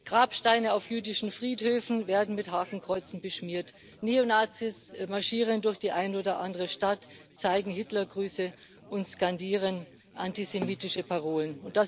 Grabsteine auf jüdischen Friedhöfen werden mit Hakenkreuzen beschmiert, Neonazis marschieren durch die eine oder andere Stadt, zeigen Hitlergrüße und skandieren antisemitische Parolen.